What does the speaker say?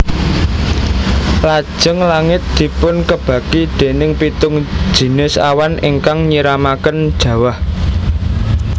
Lajeng langit dipunkebaki déning pitung jinis awan ingkang nyiramaken jawah